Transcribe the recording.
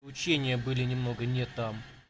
учение были немного не там